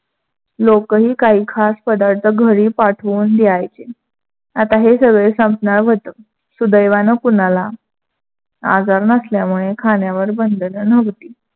लोकही काही खास पदार्थ घरी पाठवून द्यायचे. आता हे सगळे संपणार व्‍हतं. सुदैवान कोणाला आजार नसल्यामुडे खाण्यावर बंधन नव्हती.